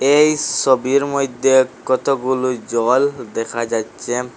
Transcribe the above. এই সবির মইদ্যে কতগুলো জল দেখা যাচ্ছে।